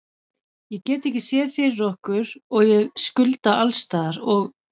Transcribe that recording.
Ég get ekki séð fyrir okkur og ég skulda alls staðar og.